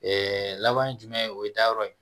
laban ye jumɛn ye o ye dayɔrɔ ye